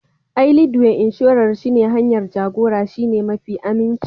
Ai Leadway Inshorar shi ne hanyar jagora shine mafi aminci